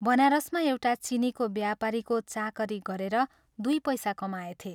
बनारसमा एउटा चीनीको व्यापारीको चाकरी गरेर दुइ पैसा कमाएथे।